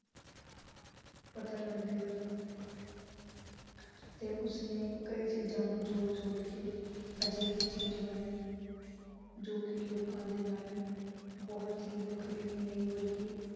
ਪਤਾ ਲਗਦੀ ਰਵੇ। ਤੇ ਉਸਨੇ ਕਈ ਚੀਜ਼ਾਂ ਨੂੰ ਜੋੜ-ਜੋੜ ਕੇ, ਅਜਿਹੀ ਚੀਜ਼ ਬਣਾਈ ਜੋ ਕਿ ਲੋਕਾਂ ਦੇ ਬਹੁਤ ਵੱਖਰੀ ਹੀ ਨਹੀਂ ਬਲਕਿ